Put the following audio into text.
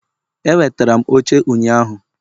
Ewetara m oche ụnyaahụ